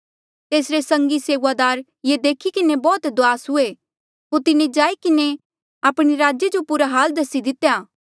तेसरे संगी सेऊआदार ये देखी किन्हें बौह्त दुआस हुए होर तिन्हें जाई किन्हें आपणे राजे जो पूरा हाल दसी दितेया